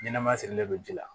Ɲɛnɛma sirilen don ji la